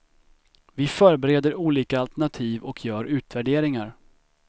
Vi förbereder olika alternativ och gör utvärderingar.